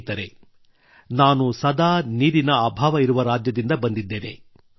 ಸ್ನೇಹಿತರೇ ನಾನು ಸದಾ ನೀರಿನ ಅಭಾವ ಇರುವ ರಾಜ್ಯದಿಂದ ಬಂದಿದ್ದೇನೆ